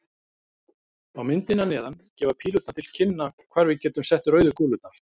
Á myndinni að neðan gefa pílurnar til kynna hvar við getum sett rauðu kúlurnar.